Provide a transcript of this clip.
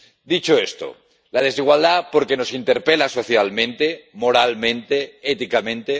Dicho esto, la desigualdad, porque nos interpela socialmente, moralmente, éticamente